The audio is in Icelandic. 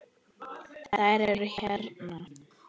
Þær eru hérna